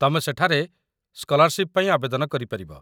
ତମେ ସେଠାରେ ସ୍କଲାର୍‌ସିପ୍‌ ପାଇଁ ଆବେଦନ କରିପାରିବ